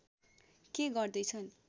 के गर्दै छन्